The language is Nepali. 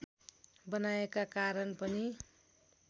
बनाएका कारण पनि